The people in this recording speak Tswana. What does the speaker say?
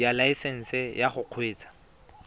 ya laesesnse ya go kgweetsa